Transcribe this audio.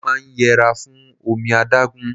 Mo máa ń yẹra fún omi adágún.